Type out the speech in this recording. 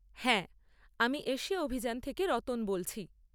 হ্যাঁ। আমি এশিয়া অভিযান থেকে রতন বলছি।